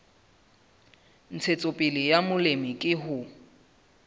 ntshetsopele ya molemi ke ho